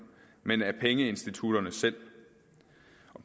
men af pengeinstitutterne selv